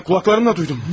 Mən qulaqlarımla duydum.